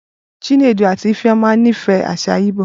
Chinedu àti Ifeoma nífẹ̀ẹ́ àṣà igbó.